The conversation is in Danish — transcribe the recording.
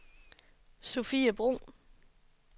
Sophie Bruun